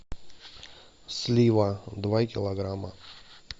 слива два килограмма